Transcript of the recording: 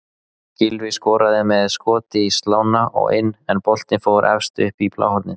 Gylfi skoraði með skoti í slána og inn en boltinn fór efst upp í bláhornið.